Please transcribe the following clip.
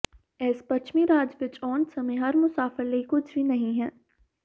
ਇਸ ਪੱਛਮੀ ਰਾਜ ਵਿਚ ਆਉਣ ਸਮੇਂ ਹਰ ਮੁਸਾਫਿਰ ਲਈ ਕੁਝ ਵੀ ਨਹੀਂ ਹੈ